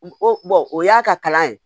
O o y'a ka kalan ye